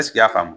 y'a faamu